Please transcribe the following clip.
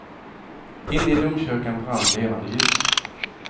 Inne i domkyrkan brann levande ljus.